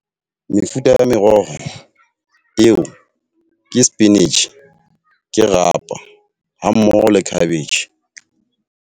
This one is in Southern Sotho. Mefuta ya meroho eo ke spinach, ke rapa ha mmoho le cabbage.